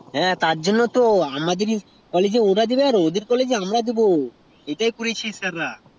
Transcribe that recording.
হ্যাঁ তার জন্যই তো ওদের college আমরা দেব আমাদের college ওরা দেবে ওটাই তো